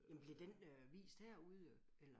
Jamen bliver den øh vist herude øh eller?